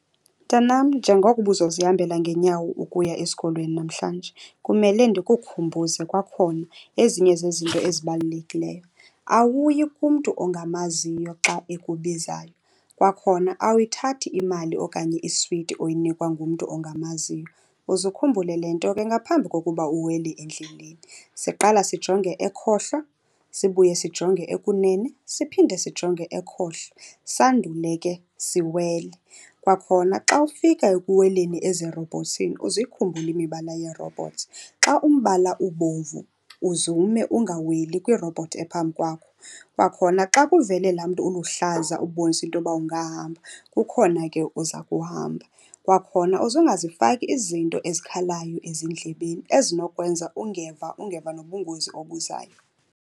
Mntanam, njengoko uba uzozihambela ngeenyawo ukuya esikolweni namhlanje, kumele ndikukhumbuze kwakhona ezinye zezinto ezibalulekileyo. Awuyi kumntu ongamaziyo xa ekubizayo. Kwakhona, awuyithathi imali okanye iswiti oyinikwa ngumntu ongamaziyo. Uze ukhumbule le nto ke, ngaphambi kokuba uwele endleleni siqala sijonge ekhohlo sibuye sijonge ekunene, siphinde sijonge ekhohlo, sandule ke siwele. Kwakhona, xa ufika ekuweleni ezirobhothsini uze uyikhumbule imibala yeerobhothsi. Xa umbala ubomvu uze ume ungaweli kwiirobhothi ephambi kwakho. Kwakhona xa kuvele laa mntu uluhlaza ubonisa into yoba ungahamba, kukhona ke uza kuhamba. Kwakhona, uze ungazifaki izinto ezikhalayo ezindlebeni ezinokwenza ungeva, ungeva nobungozi obuzayo.